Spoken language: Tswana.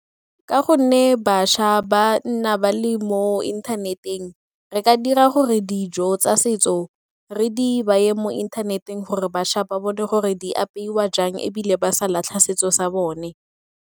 Ka gonne bašwa ba nna ba le mo inthaneteng, re ka dira gore dijo tsa setso re di baye mo inthaneteng gore bašwa ba bone gore di apeiwa jang ebile ba sa latlha setso sa bone.